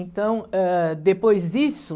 Então, ãh, depois disso...